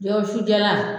Jɛgɛ wusu jalan